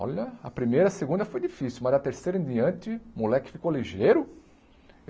Olha, a primeira, a segunda foi difícil, mas a terceira em diante, o moleque ficou ligeiro.